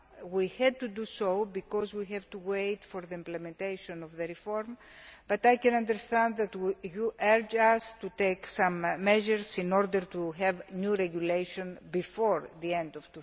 We had to do so, because we have to wait for the implementation of the reform, but I can understand why you are urging us to take some measures in order to have new regulation before the end of